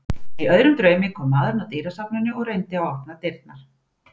Í öðrum draumi kom maðurinn af dýrasafninu og reyndi að opna dyrnar.